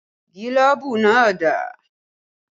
Gílóbú náà dà?